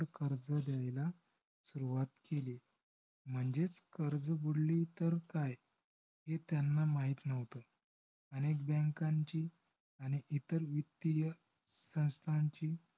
कर्ज द्यायला सुरुवात केली. म्हणजेच कर्ज बुडले तर काय हे त्यांना माहीत नव्हत. अनेक bank ची आणि इतर वित्तीय संस्थांची